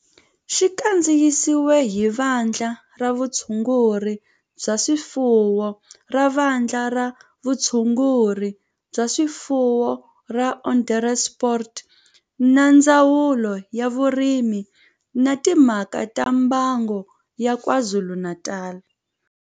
Xi kandziyisiwe hi Vandla ra Vutshunguri bya swifuwo ra Vandla ra Vutshunguri bya swifuwo ra Onderstepoort na Ndzawulo ya Vurimi na Timhaka ta Mbango ya KwaZulu-Natal